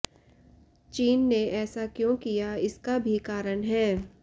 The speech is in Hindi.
चीन ने ऐसा क्यों किया इसका भी कारण है